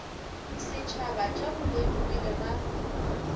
setšhaba tša boleng pele ga